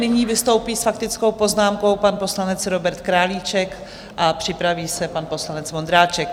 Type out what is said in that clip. Nyní vystoupí s faktickou poznámkou pan poslanec Robert Králíček a připraví se pan poslanec Vondráček.